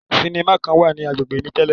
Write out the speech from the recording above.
Sinima kan wa ni agbegbe mi tẹlẹ